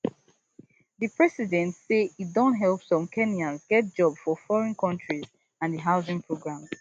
di president say e don help some kenyans get jobs for foreign countries and di housing program